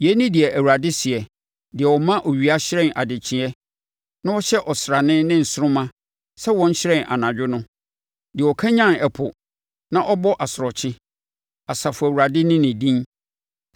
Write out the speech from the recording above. Yei ne deɛ Awurade seɛ, deɛ ɔma owia hyerɛn adekyeeɛ, na ɔhyɛ ɔsrane ne nsoromma sɛ wɔnhyerɛn anadwo; deɛ ɔkanyane ɛpo ma ɛbɔ asorɔkye, Asafo Awurade ne ne din.